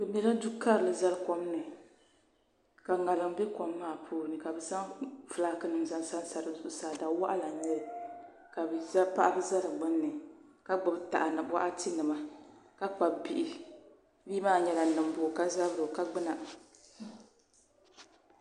Bɛ mɛla Du'karili zali komni ka ŋariŋ be kom maa ni ka bɛ zaŋ filaaki nima n sansa dizuɣu ka paɣaba ka gbibi taha ni boɣati nima ka kpabi bihi bia maa nyɛla nimbu o ka zabri o ka gbuma.